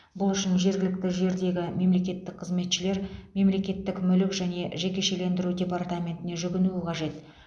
бұл үшін жергілікті жердегі мемлекеттік қызметшілер мемлекеттік мүлік және жекешелендіру департаментіне жүгінуі қажет